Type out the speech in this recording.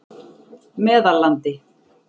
Meðallandi